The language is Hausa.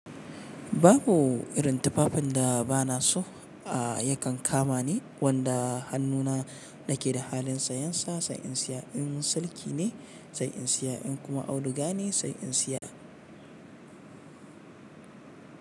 Babu irin tufafin da ba na so a yakan kama ni, wanda hannuna na ke da halin sayan sa, sai in siya. In sarki ne sai in siya, in kuma auduga ne sai in siya.